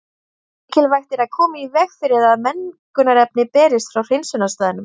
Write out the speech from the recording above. Mikilvægt er að koma í veg fyrir að mengunarefni berist frá hreinsunarstaðnum.